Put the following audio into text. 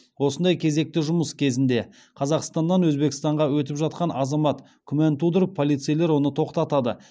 осындай кезекті жұмыс күнінде қазақстаннан өзбекстанға өтіп жатқан азамат күмән тудырып полицейлер оны тоқтатады